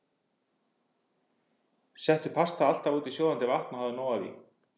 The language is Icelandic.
Settu pastað alltaf út í sjóðandi vatn og hafðu nóg af því.